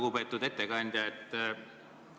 Lugupeetud ettekandja!